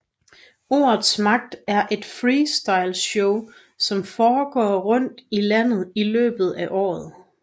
Ordets magt er et Freestyle show som foregår rundt i landet i løbet af året